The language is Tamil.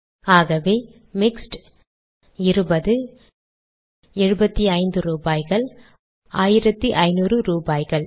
ஆகவே மிக்ஸ்ட் இருபது எழுபத்தைந்து ரூபாய்கள் ஆயிரத்து ஐநூறு ரூபாய்கள்